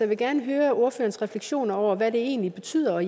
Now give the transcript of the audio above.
vil gerne høre ordførerens refleksioner over hvad det egentlig betyder